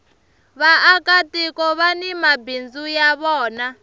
vaaka tiko vani mabindzu ya vona